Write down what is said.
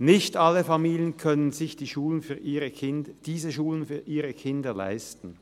Nicht alle Familien können sich diese Schulen für ihre Kinder leisten.